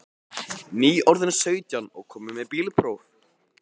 Nýorðinn sautján og kominn með bílpróf.